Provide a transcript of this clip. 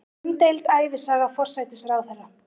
Umdeild ævisaga forsætisráðherra